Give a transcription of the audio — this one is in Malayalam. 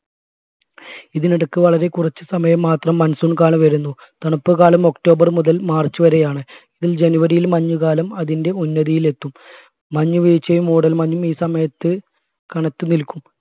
ഇതിനിടക്ക് വളരെ കുറച്ച് സമയം മാത്രം monsoon കാലം വരുന്നു തണുപ്പ് കാലം october മുതൽ march വരെയാണ് ഇതിൽ january യിൽ മഞ്ഞുകാലം അതിന്റെ ഉന്നതിയിൽ എത്തും മഞ്ഞുവീഴ്ചയും മൂടൽമഞ്ഞു ഈ സമയത്ത് കനത്തു നിൽക്കും